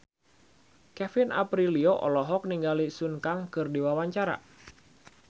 Kevin Aprilio olohok ningali Sun Kang keur diwawancara